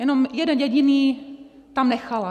Jenom jeden jediný tam nechala.